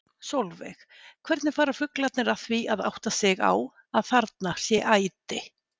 Sólveig: Hvernig fara fuglarnir að því að átta sig á að þarna sé æti?